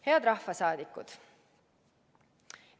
" Head rahvasaadikud!